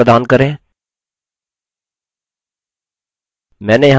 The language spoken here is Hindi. टाइटल्स का अंग्रेजी लिप्यंतरण प्रदान करें